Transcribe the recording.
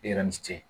E yɛrɛ ni ce